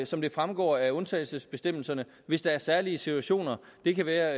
som det fremgår af undtagelsesbestemmelserne hvis der er særlige situationer det kan være